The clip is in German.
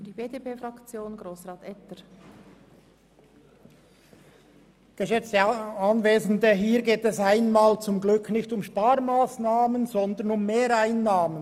Hier geht es zum Glück einmal nicht um Sparmassnahmen, sondern um Mehreinnahmen.